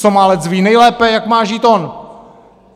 Somálec ví nejlépe, jak má žít on.